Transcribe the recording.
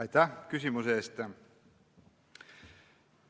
Aitäh küsimuse eest!